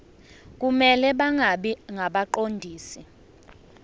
kumele bangabi ngabaqondisi